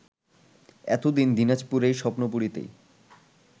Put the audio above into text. এতদিন দিনাজপুরের স্বপ্নপুরীতেই